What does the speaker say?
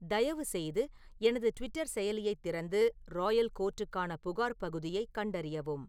தயவுசெய்து எனது ட்விட்டர் செயலியைத் திறந்து ராயல் கோர்ட்டுக்கான புகார் பகுதியைக் கண்டறியவும்